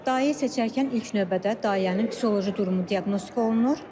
Dayə seçərkən ilk növbədə dayənin psixoloji durumu diaqnostika olunur.